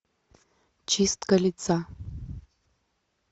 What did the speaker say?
чистка лица